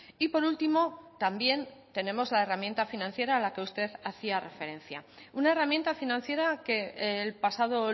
y por último también tenemos la herramienta financiera a la que usted hacía referencia una herramienta financiera que el pasado